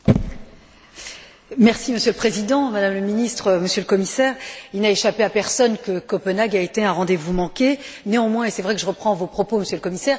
Monsieur le Président, Madame la Ministre, Monsieur le Commissaire, il n'a échappé à personne que Copenhague a été un rendez vous manqué. Néanmoins, et c'est vrai que je reprends vos propos, Monsieur le Commissaire ce sommet a quand même eu deux vertus.